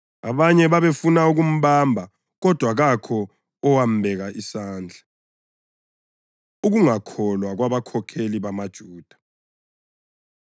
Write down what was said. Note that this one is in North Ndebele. Abanye babefuna ukumbamba, kodwa kakho owambeka isandla. Ukungakholwa Kwabakhokheli BamaJuda